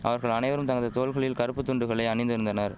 அவர்கள் அனைவரும் தங்கது தோள்களில் கறுப்பு துண்டுகளை அணிந்திருந்தனர்